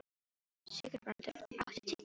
Sigurbrandur, áttu tyggjó?